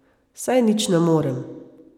Saj nič ne morem ...